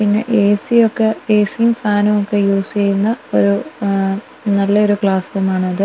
പിന്നെ ഏ_സി യൊക്കെ ഏ_സി യും ഫാനുവൊക്കെ യൂസ് ച്ചെയ്യുന്ന ഒരു നല്ലയൊരു ക്ലാസ്സ്റൂം ആണത്--